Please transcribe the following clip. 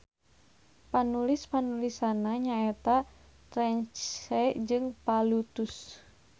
Panulis-panulisna nyaeta Terence jeung Plautus.